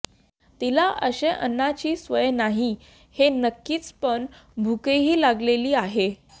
तिला अश्या अन्नाची सवय नाही हे नक्कीच पण भूकही लागलेली आहे